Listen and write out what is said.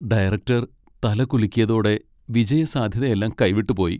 Director തല കുലുക്കിയതോടെ വിജയസാധ്യതയെല്ലാം കൈവിട്ടുപോയി.